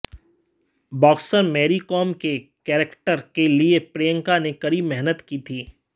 boxer Mary Kom के character के लिए प्रियंका ने कड़ी मेहनत की थी